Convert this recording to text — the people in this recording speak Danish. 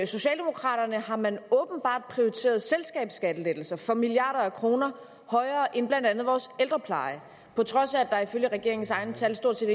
socialdemokraterne har man åbenbart prioriteret selskabsskattelettelser for milliarder af kroner højere end blandt andet vores ældrepleje på trods af at der ifølge regeringens egne tal stort set